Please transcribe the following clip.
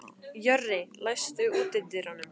Jörri, læstu útidyrunum.